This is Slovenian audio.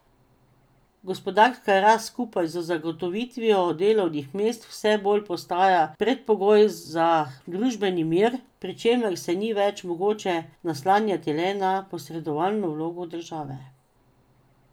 Gospodarska rast skupaj z zagotovitvijo delovnih mest vse bolj postaja predpogoj za družbeni mir, pri čemer se ni več mogoče naslanjati le na posredovalno vlogo države.